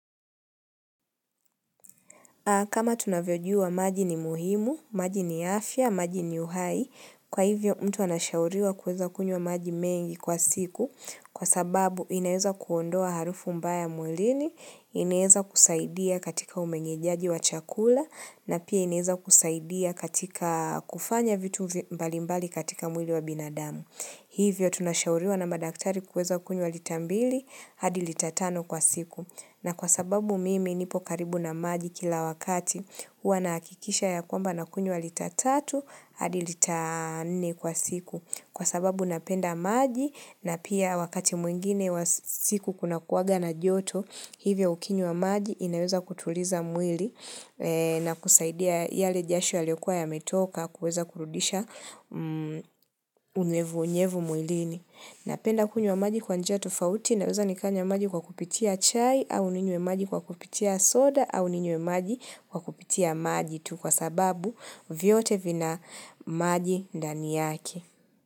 Kama tunavyojua maji ni muhimu, maji ni afya, maji ni uhai, kwa hivyo mtu anashauriwa kuweza kunywa maji mengi kwa siku kwa sababu inaweza kuondoa harufu mbaya mwilini, inaeza kusaidia katika umengejaji wa chakula na pia inaeza kusaidia katika kufanya vitu mbalimbali katika mwili wa binadamu. Hivyo tunashauriwa na madaktari kuweza kunywa lita mbili, hadi lita tano kwa siku. Na kwa sababu mimi nipo karibu na maji kila wakati, hua nakikisha ya kwamba na kunywa lita tatu, hadi lita nne kwa siku. Kwa sababu napenda maji na pia wakati mwingine wa siku kuna kuwaga na joto, hivyo ukinywa maji inaweza kutuliza mwili. Na kusaidia yale jasho yaliokuwa yametoka kuweza kurudisha unyevu unyevu mwlini napenda kunywa maji kwa njia tofauti naweza nikanywa maji kwa kupitia chai au ninywe maji kwa kupitia soda au ninywe maji kwa kupitia maji tu kwa sababu vyote vina maji dani yake.